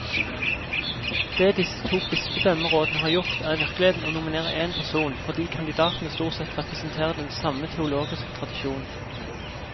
Det disse to bispedømmerådene har gjort, er i virkeligheten å nominere én person, fordi kandidatene stort sett representerer den samme teologiske tradisjon.